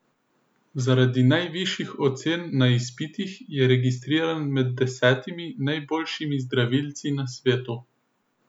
Zaradi najvišjih ocen na izpitih je registriran med desetimi najboljšimi zdravilci na svetu.